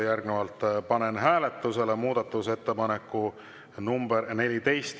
Järgnevalt panen hääletusele muudatusettepaneku nr 14.